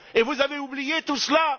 Vous avez oublié tout cela?